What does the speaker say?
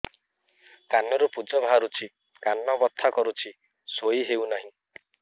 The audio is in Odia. କାନ ରୁ ପୂଜ ବାହାରୁଛି କାନ ବଥା କରୁଛି ଶୋଇ ହେଉନାହିଁ